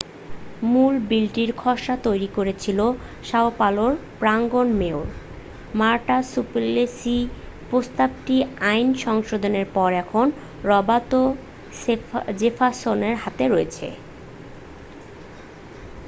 মূল বিলটির খসড়া তৈরি করেছিলেন সাও পাওলোর প্রাক্তন মেয়র মারটা সুপ্লেসি প্রস্তাবিত আইন সংশোধনের পর এখন রবার্তো জেফার্সনের হাতে রয়েছে